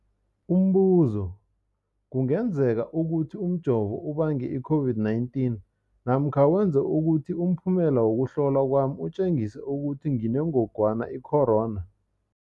Umbuzo, kungenzekana ukuthi umjovo ubange i-COVID-19 namkha wenze ukuthi umphumela wokuhlolwa kwami utjengise ukuthi nginengogwana i-corona?